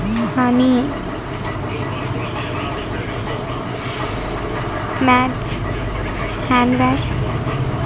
Honey match handbag .